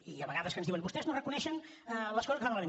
hi ha vegades que ens diuen vostès no reconeixen les coses que fan malament